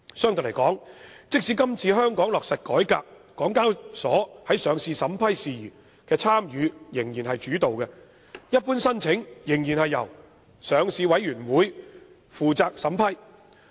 相對而言，即使香港落實這次改革，港交所在上市審批事宜的參與仍屬主導，一般申請仍然由上市委員會負責審批。